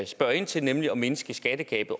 spørger ind til nemlig at mindske skattegabet